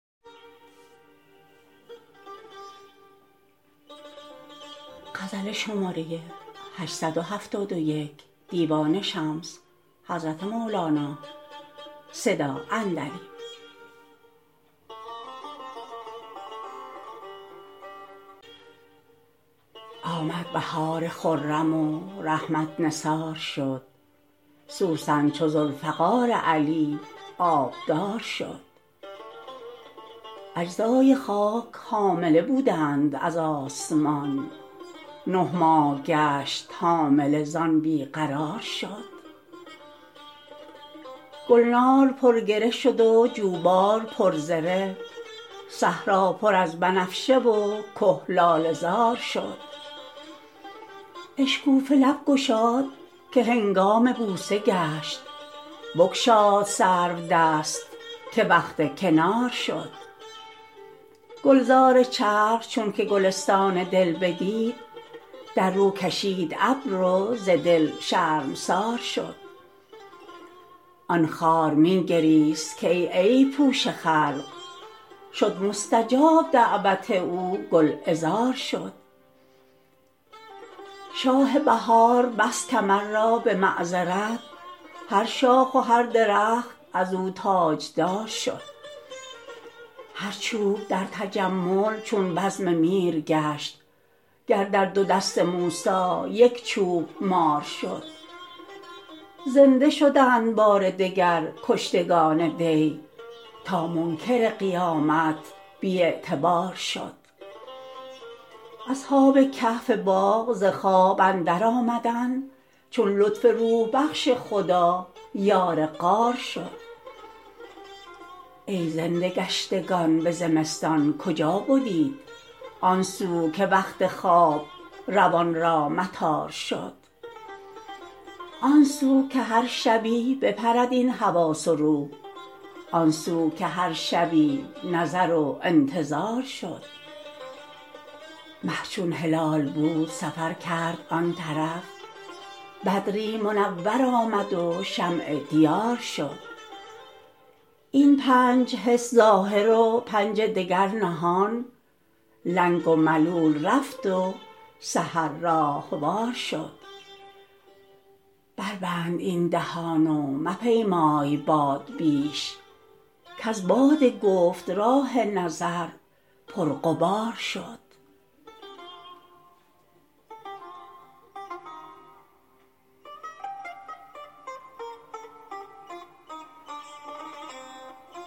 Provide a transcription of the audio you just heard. آمد بهار خرم و رحمت نثار شد سوسن چو ذوالفقار علی آبدار شد اجزای خاک حامله بودند از آسمان نه ماه گشت حامله زان بی قرار شد گلنار پرگره شد و جوبار پرزره صحرا پر از بنفشه و که لاله زار شد اشکوفه لب گشاد که هنگام بوسه گشت بگشاد سر و دست که وقت کنار شد گلزار چرخ چونک گلستان دل بدید در رو کشید ابر و ز دل شرمسار شد آن خار می گریست که ای عیب پوش خلق شد مستجاب دعوت او گلعذار شد شاه بهار بست کمر را به معذرت هر شاخ و هر درخت از او تاجدار شد هر چوب در تجمل چون بزم میر گشت گر در دو دست موسی یک چوب مار شد زنده شدند بار دگر کشتگان دی تا منکر قیامت بی اعتبار شد اصحاب کهف باغ ز خواب اندرآمدند چون لطف روح بخش خدا یار غار شد ای زنده گشتگان به زمستان کجا بدیت آن سو که وقت خواب روان را مطار شد آن سو که هر شبی بپرد این حواس و روح آن سو که هر شبی نظر و انتظار شد مه چون هلال بود سفر کرد آن طرف بدری منور آمد و شمع دیار شد این پنج حس ظاهر و پنج دگر نهان لنگ و ملول رفت و سحر راهوار شد بربند این دهان و مپیمای باد بیش کز باد گفت راه نظر پرغبار شد